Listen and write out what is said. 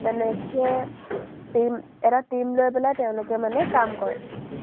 তেনেকে team এটা team লৈ পেলাই তেওঁলোকে মানে কাম কৰে।